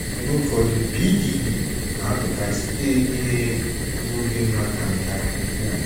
Mgbe ụfọdụ, BDD na-apụta site ihe n’oge nwata nke ukwuu.